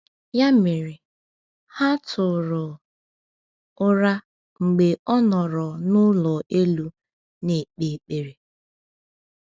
Ya mere, ha tụrụ ụra mgbe ọ nọrọ n’ụlọ elu na-ekpe ekpere.